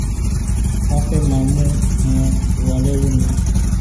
wọn fẹẹ má mú um wa lẹrú ni